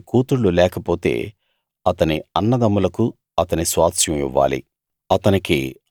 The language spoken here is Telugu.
అతనికి కూతుళ్ళు లేకపోతే అతని అన్నదమ్ములకు అతని స్వాస్థ్యం ఇవ్వాలి